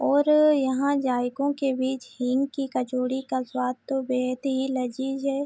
और यहाँ जायकों के बिच हिंग की कचौरी का स्वाद तो बेहद ही लजीज है।